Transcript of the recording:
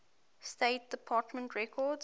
state department records